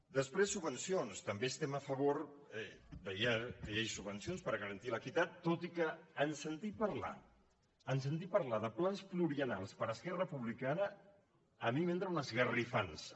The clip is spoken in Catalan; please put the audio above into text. després subvencions també estem a favor que hi hagi subvencions per garantir l’equitat tot i que en sentir parlar de plans pluriennals per esquerra republicana a mi m’entra una esgarrifança